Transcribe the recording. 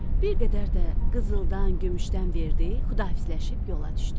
Bir qədər də qızıldan, gümüşdən verdi, xudahafizləşib yola düşdü.